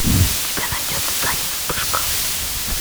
у тебя найдется танец вспышка